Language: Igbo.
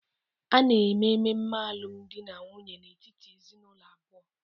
A na-eme ememe alụmdi na nwunye n'etiti ezinụlọ abụọ.